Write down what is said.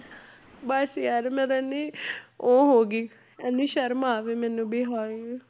ਬਸ ਯਾਰ ਮੈਂ ਤਾਂ ਇੰਨੀ ਉਹ ਹੋ ਗਈ ਇੰਨੀ ਸ਼ਰਮ ਆਵੇ ਵੀ ਮੈਨੂੰ ਹਾਏ।